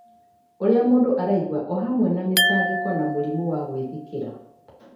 ũrĩa mũndũ araigua, o hamwe na mĩtangĩko na mũrimũ wa gwĩthikĩra.